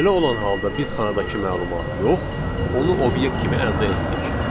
Belə olan halda biz xanadakı məlumatı yox, onu obyekt kimi əldə etdik.